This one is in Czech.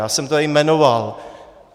Já jsem to tady jmenoval.